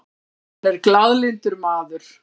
Hann er glaðlyndur maður.